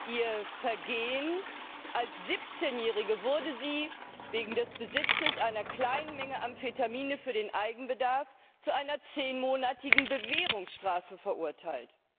Ihr Vergehen Als 17 Jährige wurde sie wegen des Besitzes einer kleinen Menge Amphetamine für den Eigenbedarf zu einer zehnmonatigen Bewährungsstrafe verurteilt.